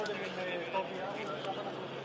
biz əvvəlcədən idik.